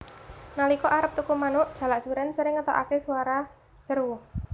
Nalika arep turu manuk jalak surèn sering ngetokaké swara seru